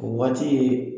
O waati ye